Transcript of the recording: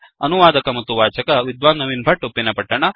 ಅನುವಾದಕ ಮತ್ತು ವಾಚಕ ವಿದ್ವಾನ್ ನವೀನ್ ಭಟ್ಟ ಉಪ್ಪಿನಪಟ್ಟಣ